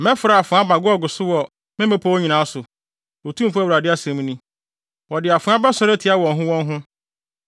Mɛfrɛ afoa aba Gog so wɔ me mmepɔw nyinaa so, Otumfo Awurade asɛm ni. Wɔde afoa bɛsɔre atia wɔn ho wɔn ho.